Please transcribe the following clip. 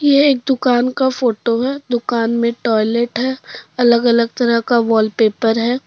यह एक दुकान का फोटो है दुकान में टॉयलेट है अलग अलग तरह का वॉलपेपर है।